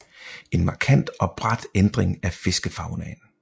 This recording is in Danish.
En markant og brat ændring af fiskefaunaen